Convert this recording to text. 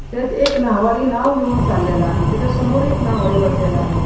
त्यात एक नाव्हाडी नाव घेऊन चालेला आहे त्याच्या समोर एक नाव्हाडी बसलेला आहे.